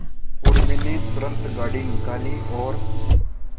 उर्मी ने तुरंत गाड़ी निकाली और